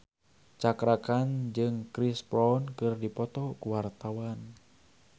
Cakra Khan jeung Chris Brown keur dipoto ku wartawan